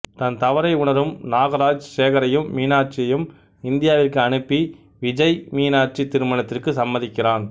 தன் தவறை உணரும் நாகராஜ் சேகரையும் மீனாட்சியையும் இந்தியாவிற்கு அனுப்பி விஜய்மீனாட்சி திருமணத்திற்கு சம்மதிக்கிறான்